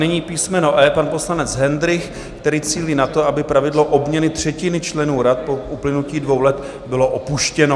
Nyní písmeno E, pan poslanec Hendrych, který cílí na to, aby pravidlo obměny třetiny členů rad po uplynutí dvou let bylo opuštěno.